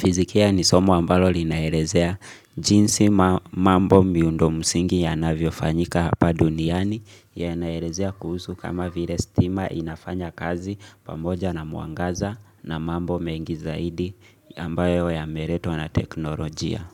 Fizikia ni somo ambaro lina elezea jinsi mamambo miundo msingi yanavyo fanyika hapa duniani yanaelezea kuhusu kama vile stima inafanya kazi pamoja na mwangaza na mambo mengi zaidi ambayo yameletwa na teknolojia.